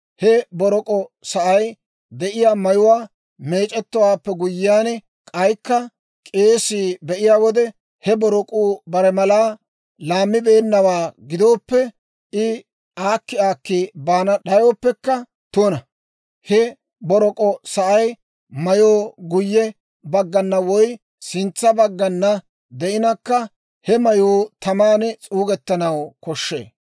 He borok'o sa'ay de'iyaa mayuwaa meec'c'owaappe guyyiyaan, k'aykka k'eesii be'iyaa wode he borok'uu bare malaa laammibeennawaa gidooppe, I aakki aakki baana d'ayooppekka tuna. He borok'o sa'ay mayoo guyye baggana woy sintsa baggana de'inkka, he mayuu taman s'uugettanaw koshshee.